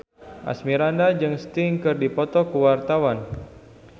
Asmirandah jeung Sting keur dipoto ku wartawan